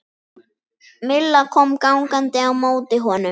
Milla kom gangandi á móti honum.